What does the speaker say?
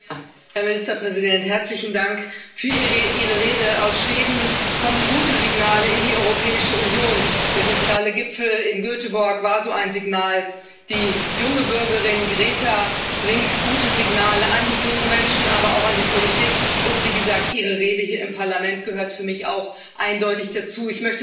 Herr Präsident! Herr Ministerpräsident, herzlichen Dank für Ihre Rede. Aus Schweden kommen gute Signale in die Europäische Union Der soziale Gipfel in Göteborg war so ein Signal, die junge Bürgerin Greta bringt gute Signale an die jungen Menschen, aber auch an die Politik, und wie gesagt Ihre Rede hier im Parlament gehört für mich auch eindeutig dazu.